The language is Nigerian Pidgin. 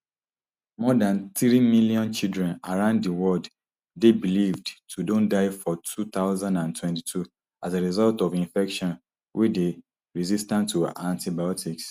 more dan three million children around di world dey believed to don die for two thousand and twenty-two as a result of infections wey dey resistant to antibiotics